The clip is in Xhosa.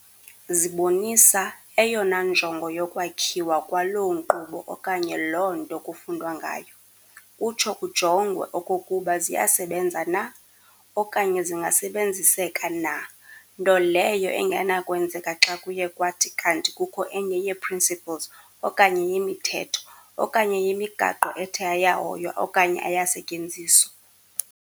Zibonisa eyona njongo yokwakhiwa kwaloo nkqubo okanye loo nto kufundwa ngayo, kutsho kujongwe okokuba ziyasebenza na, okanye zingasebenziseka na, nto leyo engenakwenzeka xa kuye kwathi kanti kukho enye yee"principles" okanye yemithetho, okanye yemigaqo ethe ayahoywa okanye ayasetyenziswa.